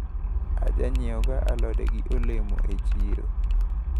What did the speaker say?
Ajanyiewoga alode gi olemo e chiro.